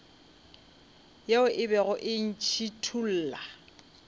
ye e bego e ntšhithola